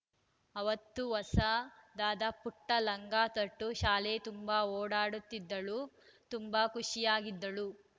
ಅವತ್ತು ಹೊಸದಾದ ಪುಟ್ಟಲಂಗ ತೊಟ್ಟು ಶಾಲೆ ತುಂಬಾ ಓಡಾಡುತ್ತಿದ್ದಳು ತುಂಬಾ ಖುಷಿಯಾಗಿದ್ದಳು